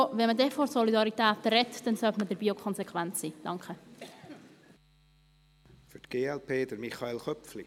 Wenn man von Solidarität spricht, sollte man dabei auch konsequent sein.